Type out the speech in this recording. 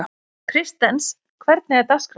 Kristens, hvernig er dagskráin?